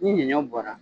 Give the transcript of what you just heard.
Ni ɲɔ bɔra